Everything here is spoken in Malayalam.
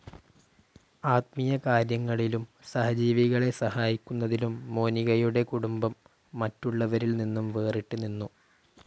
ആത്മീയകാര്യങ്ങളിലും സഹജീവികളെ സഹായിക്കുന്നതിലും മോനികയുടെ കുടുംബം മറ്റുള്ളവരിൽ നിന്നും വേറിട്ട് നിന്നു.